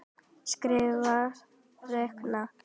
Skrifa- reikna